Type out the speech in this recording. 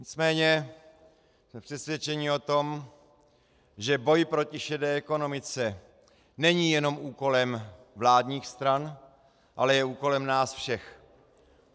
Nicméně jsme přesvědčeni o tom, že boj proti šedé ekonomice není jenom úkolem vládních stran, ale je úkolem nás všech.